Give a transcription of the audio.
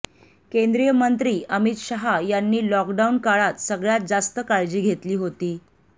केंद्रीय मंत्री अमित शहा यांनी लॉक डाऊन काळात सगळ्यात जास्त काळजी घेतली होती